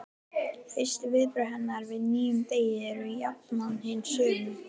Fyrstu viðbrögð hennar við nýjum degi eru jafnan hin sömu.